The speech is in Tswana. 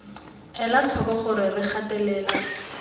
ela tlhoko gore re gatelela